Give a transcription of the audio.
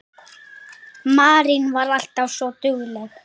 Marín var alltaf svo dugleg.